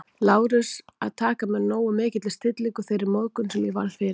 Lárus, að taka með nógu mikilli stillingu þeirri móðgun, sem ég varð fyrir